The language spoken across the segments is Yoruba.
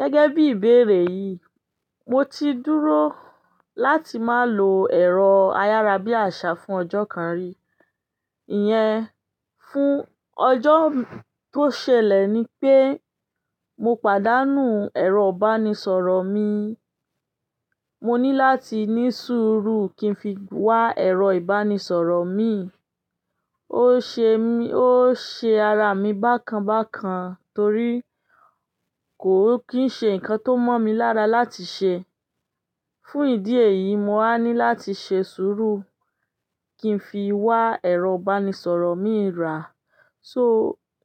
Gẹ́gẹ́ bí ìbéèrè yìí, mo ti dúró láti má lò ẹ̀rọ ayárabíàṣá fún ọjọ́ kan rí. Ìyẹn, fún ọjọ́ tó ṣẹlẹ̀ ni pé mo pàdánù ẹ̀rọ ìbánisọ̀rọ̀ mi. Mo ní láti ní sùúrù kí n fi wá ẹ̀rọ ìbánisọ̀rọ̀ mi. Ó ṣe, ó ṣe ara mi bákan bákan torí kò kí ń ṣe nǹkan tó mọ̀ mí lára láti ṣe. Fún ìdí èyí, mo á ní láti ṣe sùúrù kí n fi wá ẹ̀rọ ìbánisọ̀rọ̀ mi rà. So,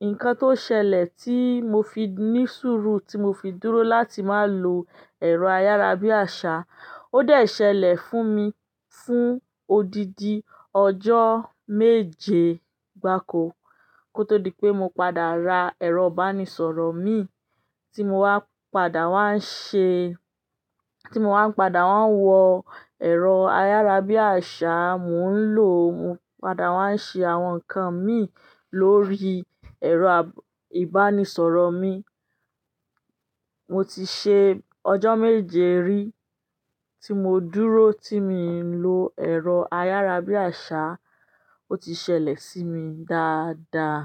nǹkan tó ṣẹlẹ̀ tí mo fi ní sùúrù, tí mo fi dúró láti má lò ẹ̀rọ ayárabíàṣá, ó de ṣẹlẹ̀ fún mi fún odidi ọjọ́ méje gba kó tó di pé mo padà ra ẹ̀rọ ìbánisọ̀rọ̀ mi tí mo wá padà wá ń ṣe, tí mo wá n padà wá ń wọ ẹ̀rọ ayárabíàṣá, mò ń lò, mo padà wá ń ṣe àwọn nǹkan mi lórí ẹ̀rọ ìbánisọ̀rọ̀ mi. Mo ti ṣe ọjọ́ méje rí tí mo dúró, tí mi i lo ẹ̀rọ ayárabíàṣá, ó ti ṣẹlẹ̀ sí mi dáadáa.